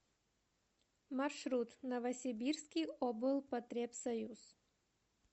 маршрут новосибирский облпотребсоюз